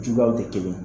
Juguyaw tɛ kelen ye